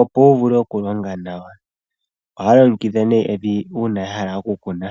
opo wu vule oku longa nawa. Ohaya longekidha nee evi uuna ya hala oku kuna.